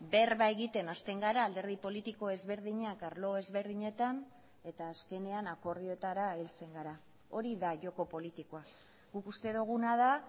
berba egiten hasten gara alderdi politiko ezberdinak arlo ezberdinetan eta azkenean akordioetara heltzen gara hori da joko politikoa guk uste duguna da